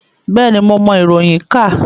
Bẹ́ẹ̀ni, mo mọ iroyin ka.